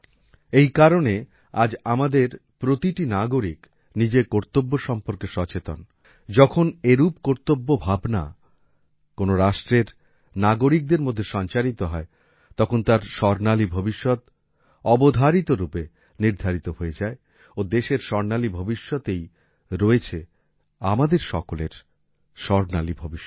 এই কারণ আজ আমাদের প্রতিটি নাগরিক নিজের কর্তব্য সম্পর্কে সচেতন যখন এরূপ কর্তব্য ভাবনা কোন রাষ্ট্রের নাগরিকদের মধ্যে সঞ্চারিত হয় তখন তার স্বর্ণালী ভবিষ্যৎ অবধারিতরূপে নির্ধারিত হয়ে যায় ও দেশের স্বর্ণালী ভবিষ্যতেই রয়েছে আমাদের সকলের স্বর্ণালী ভবিষ্যৎ